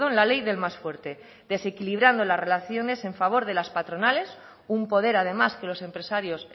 la ley del más fuerte desequilibrando las relaciones en favor de las patronales un poder además que los empresarios